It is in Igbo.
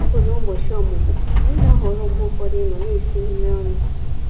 ọ̀mụ́mụ́, ànyị́ ná-àhọ̀rọ́ mgbe ụfọ̀dụ̀ ịnọ̀ ná-èsì nrí ọnụ́.